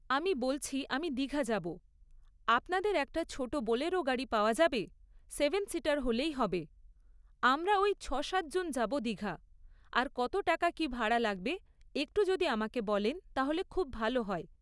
আমি বলছি আমি দিঘা যাবো আপনাদের একটা ছোটো বোলেরো গাড়ি পাওয়া যাবে সেভেন সিটার হলেই হবে আমরা ওই ছ সাতজন যাবো দিঘা আর কত টাকা কি ভাড়া লাগবে একটু যদি আমাকে বলেন তাহলে খুব ভালো হয়।